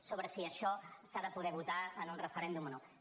sobre si això s’ha de poder votar en un referèndum o no